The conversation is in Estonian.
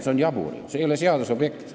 See on ju jabur, see ei ole seaduse objekt.